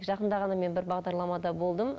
жақында ғана мен бір бағдарламада болдым